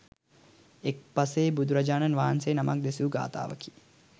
එක් පසේ බුදුරජාණන් වහන්සේ නමක් දෙසූ ගාථාවකි.